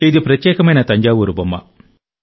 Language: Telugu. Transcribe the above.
ఇది ప్రత్యేకమైన తంజావూరు బొమ్మ